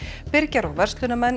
byrgjar og verslunarmenn